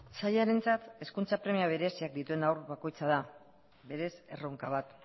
sailarentzat hezkuntza premia bereziak dituen haur bakoitza da berez erronka bat